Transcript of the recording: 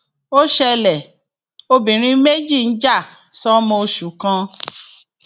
ó ṣẹlẹ obìnrin méjì ń jà sọmọ oṣù kan